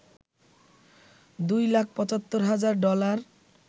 দুই লাখ ৭৫ হাজার ডলার